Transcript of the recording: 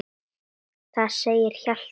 Þar segir Hjalti